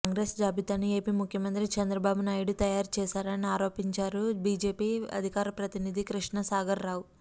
కాంగ్రెస్ జాబితాను ఏపీ ముఖ్యమంత్రి చంద్రబాబు నాయుడు తయారు చేశారని ఆరోపించారు బీజేపీ అధికార ప్రతినిధి కృష్ణసాగర్ రావు